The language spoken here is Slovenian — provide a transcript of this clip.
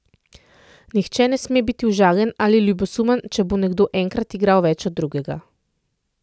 Nihče ne sme biti užaljen ali ljubosumen, če bo nekdo enkrat igral več od drugega.